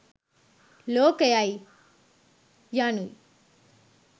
ලෝකයයි, යනු යි.